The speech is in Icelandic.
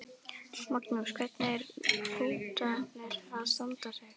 Magnús: Hvernig eru hrútarnir að standa sig?